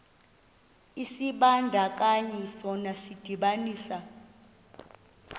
isibandakanyi sona sidibanisa